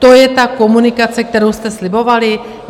To je ta komunikace, kterou jste slibovali?